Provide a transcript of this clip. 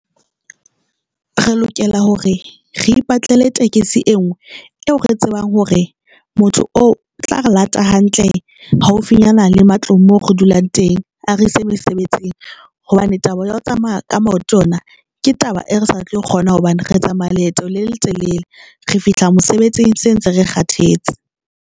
Re lokela hore re ipatlele tekesi e nngwe eo re tsebang hore motho o o tla re late hantle haufinyana le matlong mo re dulang teng eng a re ise mosebetsing, hobane taba ya ho tsamaya ka maoto yona ke taba e re sa tlo e kgona hobane re tsamaya leeto le letelele, re fihla mosebetsing se ntse re kgathetse.